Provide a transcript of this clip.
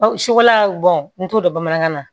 Sukolan bɔn n t'o dɔn bamanankan na